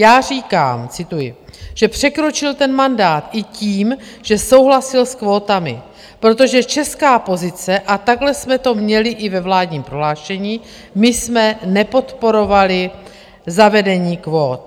Já říkám, cituji, že překročil ten mandát i tím, že souhlasil s kvótami, protože česká pozice, a takhle jsme to měli i ve vládním prohlášení, my jsme nepodporovali zavedení kvót.